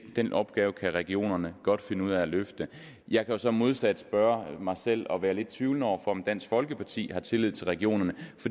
den opgave kan regionerne godt finde ud af at løfte jeg kan så modsat spørge mig selv og være lidt tvivlende over for om dansk folkeparti har tillid til regionerne